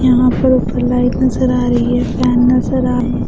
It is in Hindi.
यहाँ पर ऊपर लाइट नजर आ रही है फैन नजर आ ।